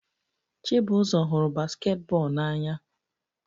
Chibuzor hụrụ basketball n'anya